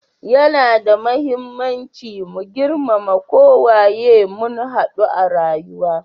Ya na da muhimmanci mu girmama ko waye mun hadu a rayuwa.